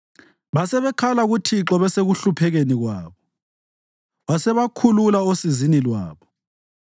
Basebekhala kuThixo besekuhluphekeni kwabo, wasebakhulula osizini lwabo.